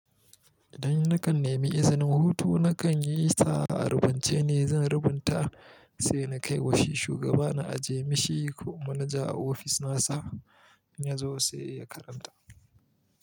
Idan na kan nemi izinin hutu, na kan yi sa a rubuce ne, zan rubuta sai na kai wa shi shugaba na ajiye mishi ko manaja a ofis nasa, in ya zo sai ya karanta.